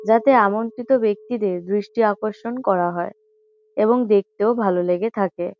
যাতে আমন্ত্রিত ব্যক্তিদের দৃষ্টি আকর্ষণ করা হয় এবং দেখতেও ভালো লেগে থাকে।